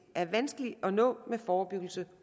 er vanskelige at nå med forebyggelse